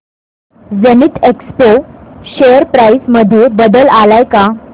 Zenith Expo share price मध्ये बदल आलाय का